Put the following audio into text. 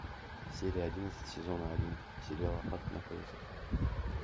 серия одиннадцать сезона один сериала ад на колесах